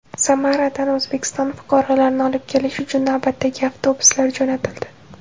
Samaradan O‘zbekiston fuqarolarini olib kelish uchun navbatdagi avtobuslar jo‘natildi.